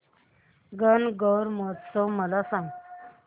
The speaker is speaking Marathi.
गणगौर उत्सव मला सांग